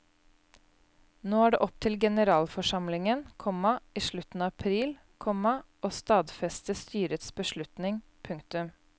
Nå er det opp til generalforsamlingen, komma i slutten av april, komma å stadfeste styrets beslutning. punktum